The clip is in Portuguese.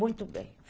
Muito bem.